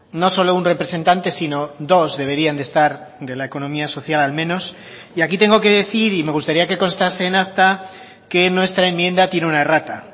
no solo un representante sino dos deberían de estar de la economía social al menos y aquí tengo que decir y me gustaría que constase en acta que nuestra enmienda tiene una errata